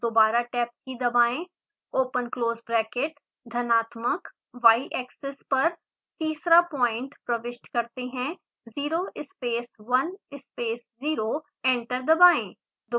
दोबारा tab की key दबाएं ओपन क्लोज़ ब्रैकेट धनात्मक yएक्सिस पर तीसरा पॉइंट प्रबिष्ट करते हैं 0 space 1 space 0 एंटर दबाएं